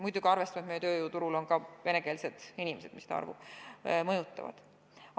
Muidugi tuleb arvestada, et meie tööjõuturul on ka venekeelsed inimesed, kes seda arvu mõjutavad.